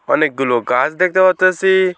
অনেকগুলো গাছ দেখতে পারতাসি।